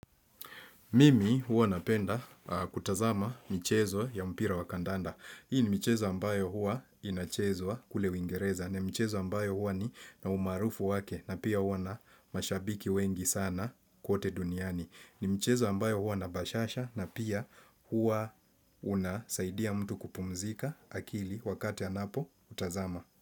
Mimi huwa napenda kutazama mchezo ya mpira wa kandanda. Hii ni mchezo ambayo huwa inachezwa kule wingereza. Ni mchezo ambayo huwa na umaarufu wake na pia huwa na mashabiki wengi sana kote duniani. Ni mchezo ambayo huwa na bashasha na pia huwa unasaidia mtu kupumzika akili wakati anapo utazama.